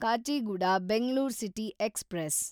Kacheguda Bengaluru city express